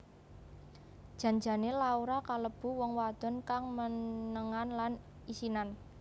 Jan jane Laura kalebu wong wadon kang menengan lan isinan